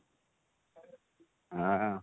ହଁ